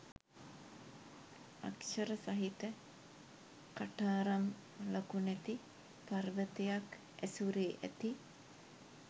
අක්‍ෂර සහිත කටාරම් ලකුණැති පර්වතයක් ඇසුරේ ඇති